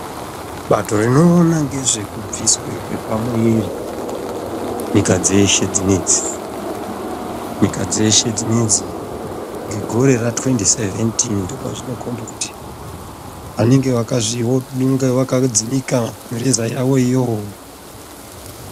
Bato rinoone ngezve kubviswe pamuiri nyika dzeshe dzinedzi nyika dzeshe dzinedzi ngegore ra2017 ndopazvinokombe kuti vanenge vakazvio vanengavaka dzimika mireza yavoyo